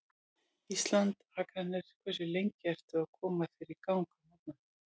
Ísland, Akranes Hversu lengi ertu að koma þér í gang á morgnanna?